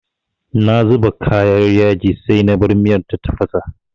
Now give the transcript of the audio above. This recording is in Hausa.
Na zuba kayan yaji sai na bar miyar ta tafasa.